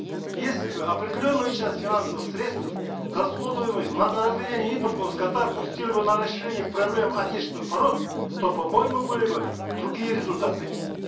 если бы определенную часть финансовых средств расходуемых на разведение импортного скота пустили бы на решение проблем отечественных пород то по моему были бы другие результаты